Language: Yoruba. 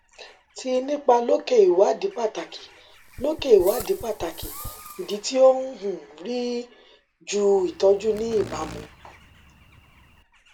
ti nipa loke iwadi pataki loke iwadi pataki idi ti o um ri ju itọju ni ibamu